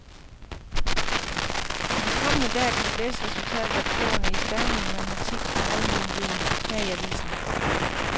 I de kommende dage kan du læse resultatet af prøverne i stavning, matematik og almen viden her i avisen.